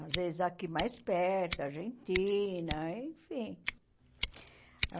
Às vezes aqui mais perto, Argentina, enfim.